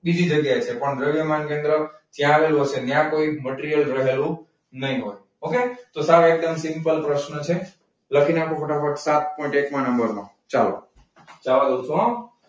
બીજી જગ્યાએ છે પણ દ્રવ્યમાન કેન્દ્ર ક્યાં આવેલું હશે? અને ત્યાં કોઈ મટીરીયલ રહેલું નહીં હોય. okay? તો ચાલો એકદમ simple પ્રશ્ન છે. લખી નાખો ફટાફટ સાત પોઈન્ટ એકમાં નંબરનો. ચાલો,